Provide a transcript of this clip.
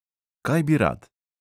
Kaj bi rad?